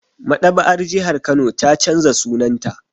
Maɗaba'ar jihar Kano ta canza sunanta